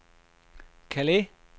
Calais